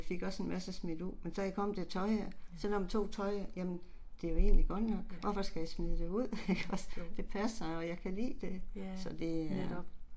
Ja. Jo. Ja, netop